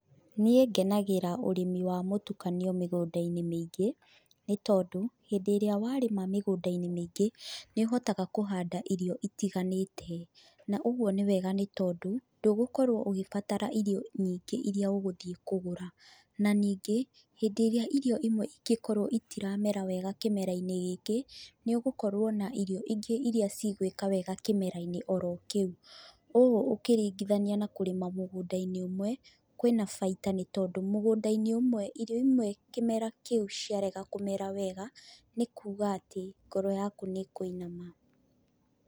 Niĩ ngenagĩra ũrĩmi wa mũtukanio mĩgũnda-inĩ mĩingĩ, nĩ tondũ, hĩndĩ ĩrĩa warĩma mĩgũndainĩ mĩingĩ, nĩũhotaga kũhanda irio itiganĩte na ũguo nĩ wega nĩ tondũ ndũgũkorwo ũgĩbatara irio nyingĩ iria ũgũthiĩ kũgũra. Na ningĩ, hĩndĩ ĩrĩa irio imwe ingĩkorwo itiramera wega kĩmerainĩ gĩkĩ, nĩũkorwo na irio ingĩ iria igwĩka wega kĩmerainĩ o ro kĩu. ũũ ũkĩringithania na kũrĩma mũgũndainĩ ũmwe, kwĩna baita nĩ tondũ mũgũndainĩ ũmwe irio imwe kĩmera kĩu ciarega kũmera wega, nĩ kuuga atĩ ngoro yaku nĩ ĩkũinama.